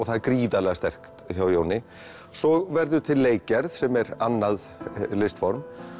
það er gríðarlega sterkt hjá Jóni svo verður til leikgerð sem er annað listform